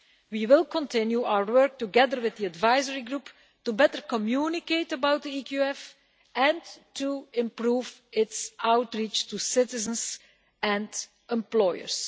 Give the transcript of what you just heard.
We will continue our work together with the advisory group to better communicate about the EQF and to improve its outreach to citizens and employers.